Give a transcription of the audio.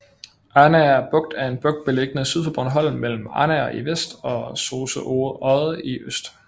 Arnager Bugt er en bugt beliggende syd for Bornholm mellem Arnager i vest og Sose Odde i øst